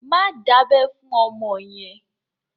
Má dábẹ́ fún ọmọ yẹn!